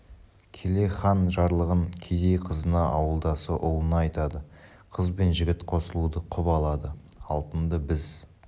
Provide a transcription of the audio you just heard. келе хан жарлығын кедей қызына ауылдасы ұлына айтады қыз бен жігіт қосылуды құп алады алтынды біз